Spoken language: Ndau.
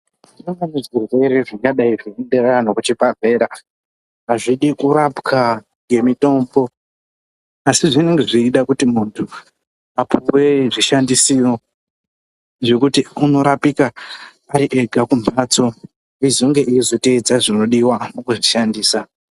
Kubatwa ngezvirwere zvingange zveibata antu kuchibhedhlera. Azvidi kurapwa ngemitombo asi zvinenge zveida kuti muntu ane zvishandisiro zvekuti unorapika ari ega kumhatso. Ozoteedza zvinonga zveidiwa eizvishandisa.